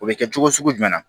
O bɛ kɛ cogo sugu jumɛn na